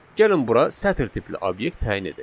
Gəlin bura sətr tipli obyekt təyin edək.